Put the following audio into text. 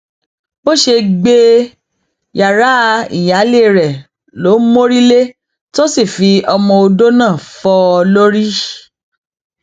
bó ṣe gbé e yàrá ìyáálé rẹ ló mórí lé tó sì fi ọmọọdọ náà fọ ọ lórí